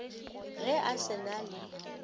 ge a se na le